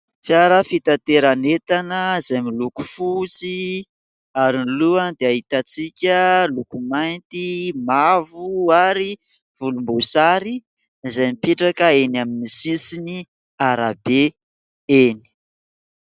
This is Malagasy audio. Fiara fitateranetana izay miloko fosy ary ny lohany dia hitantsika loko mainty , mavo ary volom-bosary izay mipetraka eny amin'ny sisiny arabe eny